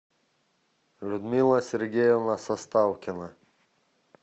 людмила сергеевна составкина